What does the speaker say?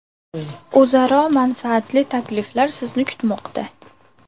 O‘zaro manfaatli takliflar sizni kutmoqda!